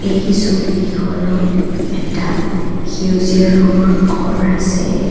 এই ছবিখনত এটা সেউজীয়া ৰঙৰ ঘৰ আছে।